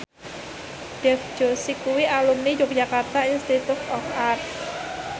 Dev Joshi kuwi alumni Yogyakarta Institute of Art